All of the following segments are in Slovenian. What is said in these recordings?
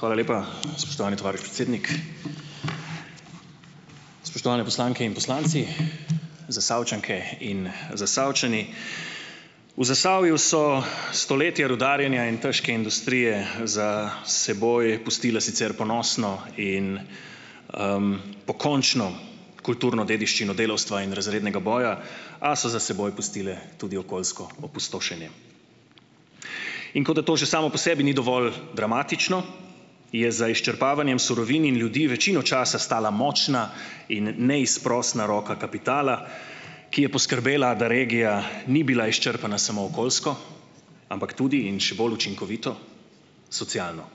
Hvala lepa, spoštovani tovariš predsednik! Spoštovani poslanke in poslanci, Zasavčanke in Zasavčani! V Zasavju so stoletja rudarjenja in težke industrije za seboj pustile sicer ponosno in, pokončno kulturno dediščino delavstva in razrednega boja, a so za seboj pustile tudi okoljsko opustošenje. In kot da to že samo po sebi ni dovolj dramatično, je za izčrpavanjem surovin in ljudi večino časa stala močna in neizprosna roka kapitala, ki je poskrbela, da regija ni bila izčrpana samo okoljsko, ampak tudi in še bolj učinkovito, socialno.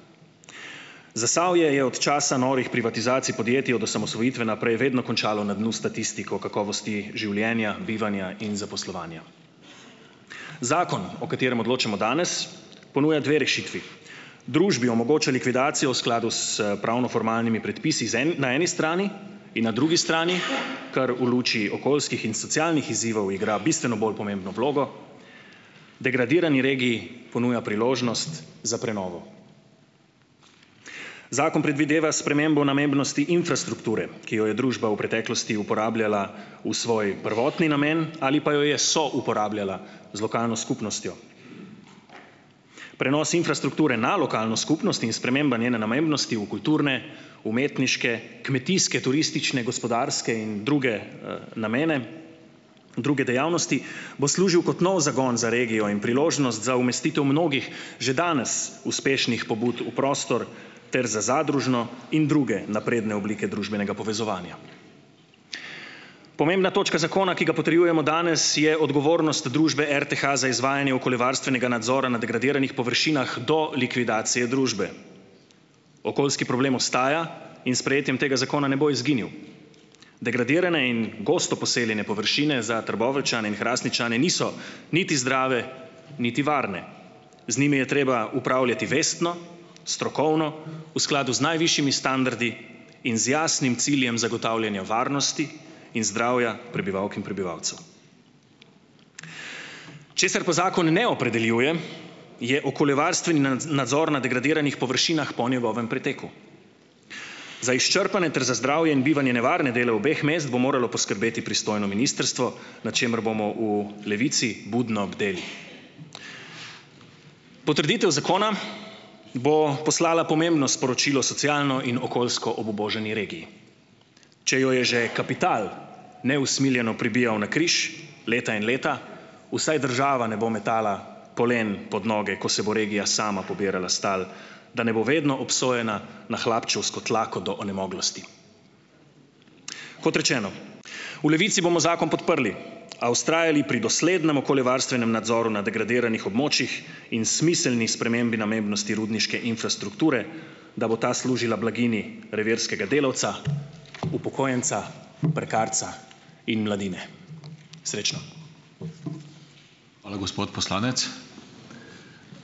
Zasavje je od časa norih privatizacij podjetij od osamosvojitve naprej vedno končalo na dnu s statistiko kakovosti življenja, bivanja in zaposlovanja. Zakon o katerem odločamo danes, ponuja dve rešitvi. Družbi omogoča likvidacijo v skladu s pravnoformalnimi predpisi zaen na eni strani in na drugi strani, kar v luči okoljskih in socialnih izzivov igra bistveno bolj pomembno vlogo, degradirani regiji ponuja priložnost za prenovo. Zakon predvideva spremembo namembnosti infrastrukture, ki jo je družba v preteklosti uporabljala v svoj prvotni namen ali pa jo je souporabljala z lokalno skupnostjo. Prenos infrastrukture na lokalno skupnost in sprememba njene namembnosti v kulturne, umetniške, kmetijske, turistične, gospodarske in druge, namene, druge dejavnosti, bo služil kot nov zagon za regijo in priložnost za umestitev mnogih že danes uspešnih pobud v prostor ter za zadružno in druge napredne oblike družbenega povezovanja. Pomembna točka zakona, ki ga potrjujemo danes, je odgovornost družbe RTH za izvajanje okoljevarstvenega nadzora na degradiranih površinah do likvidacije družbe. Okoljski problem ostaja in s sprejetjem tega zakona ne bo izginil. Degradirane in gosto poseljene površine za Trboveljčane in Hrastničane niso niti zdrave niti varne, z njimi je treba upravljati vestno, strokovno, v skladu z najvišjimi standardi in z jasnim ciljem zagotavljanja varnosti in zdravja prebivalk in prebivalcev. Česar pa zakon ne opredeljuje, je okoljevarstveni nadzor na degradiranih površinah po njegovem preteku. Za izčrpane ter za zdravje in bivanje nevarna dele obeh mest bo moralo poskrbeti pristojno ministrstvo, nad čemer bomo v Levici budno bdeli. Potrditev zakona bo poslala pomembno sporočilo socialno in okoljsko obubožani regiji. Če jo je že kapital neusmiljeno pribijal na križ leta in leta, vsaj država ne bo metala polen pod noge, ko se bo regija sama pobirala s tal, da ne bo vedno obsojena na hlapčevsko tlako do onemoglosti. Kot rečeno, v Levici bomo zakon podprli, a vztrajali pri doslednem okoljevarstvenem nadzoru na degradiranih območjih in smiselni spremembi namembnosti rudniške infrastrukture, da bo ta služila blaginji revirskega delavca, upokojenca, prekarca in mladine. Srečno.